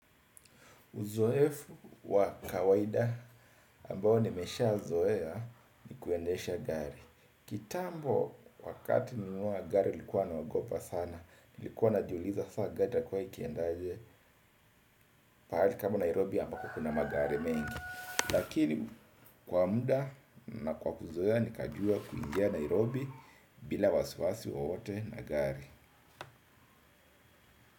Uzoefu wa kawaida ambao nimeshazoea ni kuendesha gari. Kitambo wakati nilinunua gari nilikuwa naogopa sana, nilikuwa najiuliza saa gari itakuwa ikiendaje. Pahali kama Nairobi ambapo kuna magari mengi. Lakini kwa muda na kwa kuzoea nikajua kuingia Nairobi bila wasiwasi wowote na gari.